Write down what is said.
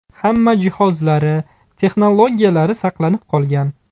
Hamma jihozlari, texnologiyalari saqlanib qolgan.